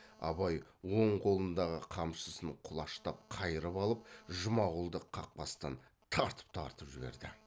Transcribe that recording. абай оң қолындағы қамшысын құлаштап қайрып алып жұмағұлды қақбастан тартып тартып жіберді